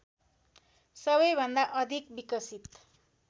सबैभन्दा अधिक विकसित